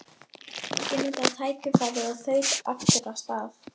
Ég notaði tækifærið og þaut aftur af stað.